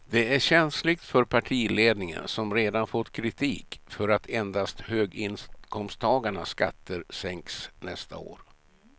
Det är känsligt för partiledningen som redan fått kritik för att endast höginkomsttagarnas skatter sänks nästa år.